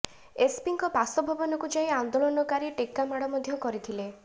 ଏସପିଙ୍କ ବାସଭବନକୁ ଯାଇ ଆନ୍ଦୋଳନକାରୀ ଟେକା ମାଡ ମଧ୍ୟ କରିଥିଲେ